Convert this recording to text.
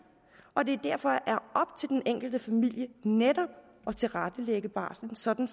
og det er derfor op til den enkelte familie netop at tilrettelægge barslen sådan